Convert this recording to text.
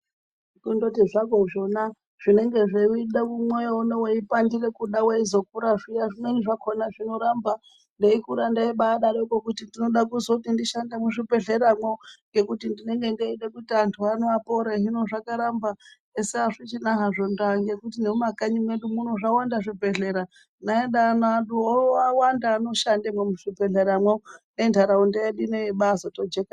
Kundoti hakwo zvona zvinenge zveida mwoyo unowu weipandira kuda weizokura zviya zvimweni zvakhona zvinoramba. Ndeikura ndaibarokwo kuti ndinoda kuti ndishande muzvibhedhlera mwo ngekuti ndinenge ndeida kuti antu ano apore. Hino zvakaramba. Esi azvichina hazvo ndaa ngekuti nemumakanyi mwedu muno zvawanda zvibhedhlera. Neana edu ano owa wanda anoshanda mwo muzvibhedhlera mwo ngenharaunda yedu ino yebazotojeka.